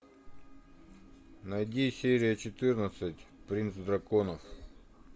найди серия четырнадцать принц драконов